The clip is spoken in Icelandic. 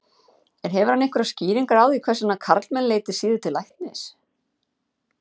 En hefur hann einhverjar skýringar á því hvers vegna karlmenn leiti síður til læknis?